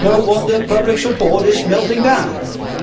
No wonder public support is melting away.